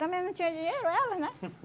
Também não tinha dinheiro, elas, né?